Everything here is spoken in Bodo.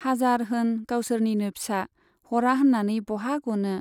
हाजार होन गावसोरनिनो फिसा, हरा होन्नानै बहा गनो।